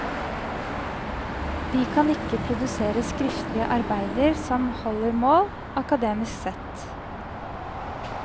De kan ikke produsere skriftlige arbeider som holder mål, akademisk sett.